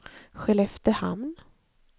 Skelleftehamn